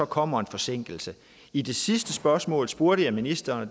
kommer en forsinkelse i det sidste spørgsmål spurgte jeg ministeren og